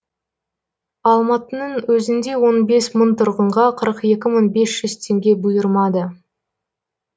алматының өзінде он бес мың тұрғынға қырық екі мың бес жүз теңге бұйырмады